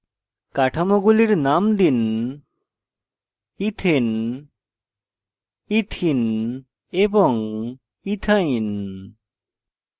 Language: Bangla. কাঠামোগুলির names দিন ethane ethane ethene ethene এবং ethane ethyne